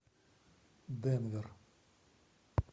денвер